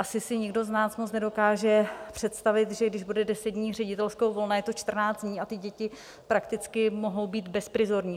Asi si nikdo z nás moc nedokáže představit, že když bude deset dní ředitelského volna, je to čtrnáct dní, a ty děti prakticky mohou být bezprizorní.